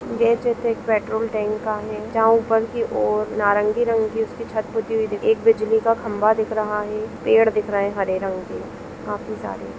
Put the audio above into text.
यह चित्र एक पेट्रोल टैंक का है जहा ऊपर की और नारगी रंग की उसकी छत पुती हुई दिख एक बिजली का खम्बा दिख रहा है पेड़ दिख रहे है हरे रंग के खाफी सारे